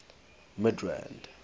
midrand